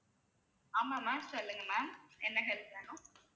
ஆமா ma'am சொல்லுங்க ma'am என்ன help வேணும்